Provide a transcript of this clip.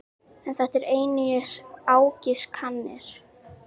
En þetta eru einungis ágiskanir.